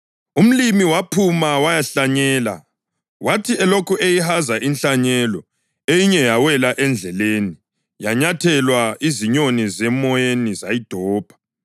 “Umlimi waphuma wayahlanyela. Wathi elokhu eyihaza inhlanyelo, eyinye yawela endleleni; yanyathelwa, izinyoni zemoyeni zayidobha.